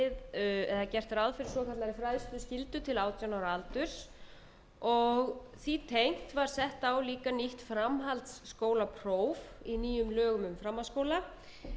við eða gert ráð fyrir svokallaðri fræðsluskyldu til átján ára aldurs og því tengt var sett á líka nýtt framhaldsskólapróf í nýjum lögum um framhaldsskóla í